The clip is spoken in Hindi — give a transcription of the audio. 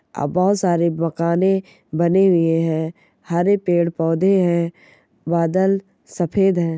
अ बहुत सारे मखाने बने हुए हैं | हरे पेड़ पौधे हैं बादल सफेद है।